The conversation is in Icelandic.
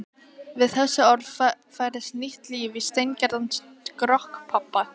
Við þessi orð færðist nýtt líf í steingerðan skrokk pabba.